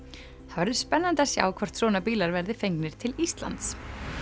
verður spennandi að sjá hvort svona bílar verða fengnir til Íslands